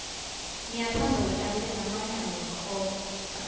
ngiyatsandza kuhlabela mane angikhoni